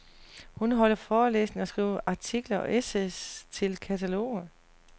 Hun holder forelæsninger og skriver artikler og essays til kataloger.